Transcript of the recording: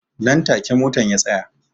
Nan take motan ya tsaya